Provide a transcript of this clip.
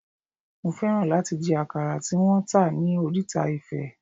Mo fẹ́ràn láti jẹ àkàrà tí wón ń tà ní oríta Ifẹ̀.